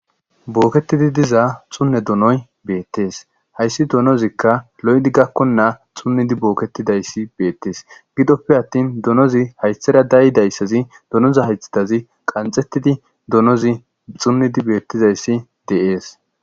Booketidi diza xunne donoy beettees hayssi donozikka lo7edi gakkonnaa xunnidi booketidayssi beettees gidoppe attin donozi hayshera dayi dayssazi donoza haythidazi qanxettidi donozi xunnidi beettizayssi deees